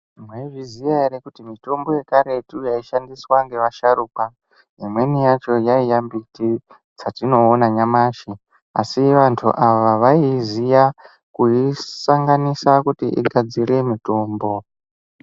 Mwaizviziya ere kuti mutombo yekaretu yaishandiswa ngeasharuka imweni yachona yaiya ndudzi dzatinoona nyamashi. Asi vantu ava vaiyiziya kuisanganisa kuti igadzire mutombo.